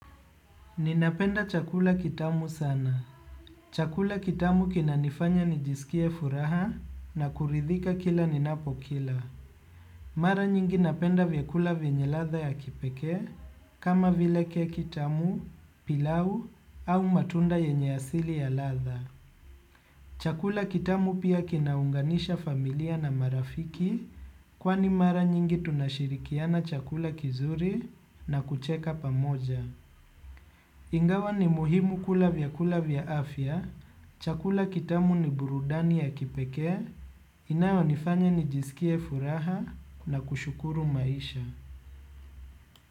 Ninapenda chakula kitamu sana. Chakula kitamu kinanifanya nijisikie furaha na kuridhika kila ninapokila. Mara nyingi napenda vyakula vyenye ladha ya kipekee kama vile keki tamu, pilau au matunda yenye asili ya ladha. Chakula kitamu pia kinaunganisha familia na marafiki, kwani mara nyingi tunashirikiana chakula kizuri na kucheka pamoja. Ingawa ni muhimu kula vyakula vya afya, chakula kitamu ni burudani ya kipekee inayonifanya nijisikie furaha na kushukuru maisha.